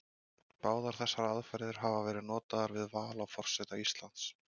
Báðar þessar aðferðir hafa verið notaðar við val á forseta Íslands.